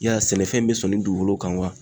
Yala sɛnɛfɛn in bɛ sɔn ni dugukolo kan wa?